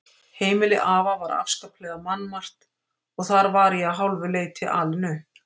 Heimili afa var afskaplega mannmargt og þar var ég að hálfu leyti alinn upp.